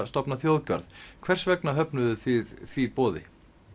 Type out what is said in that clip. stofna þjóðgarð hvers vegna höfnuðu þið því boði